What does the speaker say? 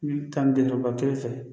N'i bɛ taa ni den ba kelen fɛ